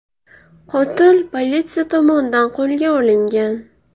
Qotil politsiya tomonidan qo‘lga olingan.